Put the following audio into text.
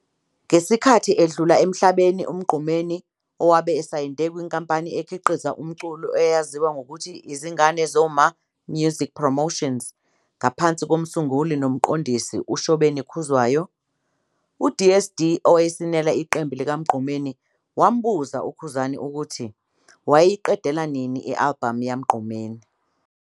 Ngesikhathi edlula emhlabeni uMgqumeni wabe esayinde kwinkampani ekhiqiza umculo eyaziwa ngokuthi, Izingane Zoma Music Promotions ngaphansi kom'sunguli nomqondisi uShobeni Khuzwayo. UDSD owayesinela iqembu likaMgqumeni wambuza uKhuzani ukuthi wayeyiqedela nini i-album yaMgqumeni.